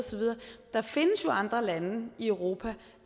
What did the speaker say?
der findes jo andre lande i europa